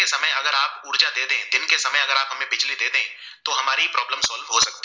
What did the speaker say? तो हमारी problem solve हो सकती है